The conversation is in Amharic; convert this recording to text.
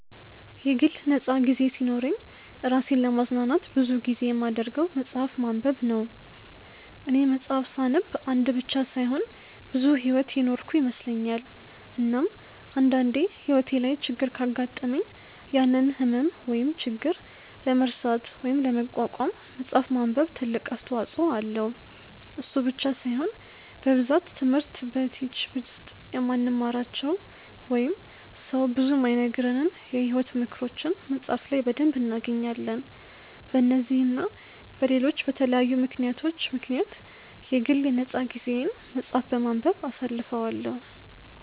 የግል ነፃ ጊዜ ሲኖረኝ እራሴን ለማዝናናት ብዙ ጊዜ የማደርገው መፅሐፍ ማንበብ ነው፦ እኔ መፅሐፍ ሳነብ አንድ ብቻ ሳይሆን ብዙ ሕይወት የኖርኩ ይመስለኛል፤ እናም አንድ አንዴ ሕይወቴ ላይ ችግር ካጋጠመኝ ያንን ህመም ወይም ችግር ለመርሳት ወይም ለመቋቋም መፅሐፍ ማንበብ ትልቅ አስተዋጽኦ አለው፤ እሱ ብቻ ሳይሆን በብዛት ትምህርት በቲች ውስጥ የማንማራቸው ወይንም ሰው ብዙ የማይነግረንን የሕይወት ምክሮችን መፅሐፍ ላይ በደንብ እናገኛለን፤ በነዚህ እና በለሎች በተለያዩ ምክንያቶች ምክንያት የግል የ ነፃ ጊዜየን መፅሐፍ በማንበብ አሳልፈዋለው።